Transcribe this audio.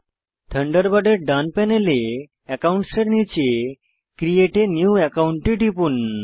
থান্ডারবার্ডের ডান প্যানেলে অ্যাকাউন্টের নীচে ক্রিয়েট a নিউ একাউন্ট এ টিপুন